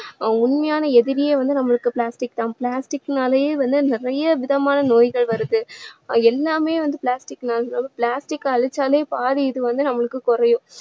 உண்மையான எதிரியே வந்து நம்மளுக்கு plastic தான் plastic னாலயே வந்து நிறைய விதமான நோய்கள் வருது அஹ் எல்லாமே வந்து plastic னால plastic அ அழிச்சாலே பாதி இது வந்து நம்மளுக்கு குறையும்